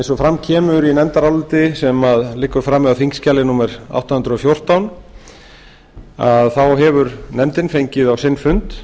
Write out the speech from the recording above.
eins og fram kemur í nefndaráliti sem liggur frammi á þingskjali átta hundruð og fjórtán hefur nefndin fengið á sinn fund